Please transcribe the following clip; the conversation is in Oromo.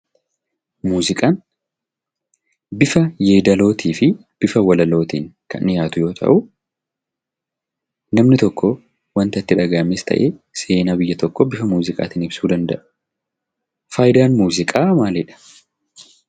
Muuziqaan bifa yeedalootii fii bifa walalootiin kan dhiyaatu yoo ta'uu namni tokkoo wanta itti dhaga'ames ta'ee seenaa biyya tokkoo bifa muuziqaatiin ibsuu danda'a. Faayidaan muuziqaa maalidha?